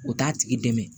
U t'a tigi dɛmɛ